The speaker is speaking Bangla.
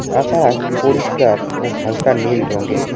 আকাশ পরিষ্কার ও হালকা নীল রঙ্গের।